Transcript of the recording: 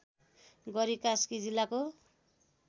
गरी कास्की जिल्लाको